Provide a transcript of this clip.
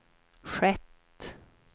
skett